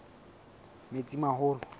metsimaholo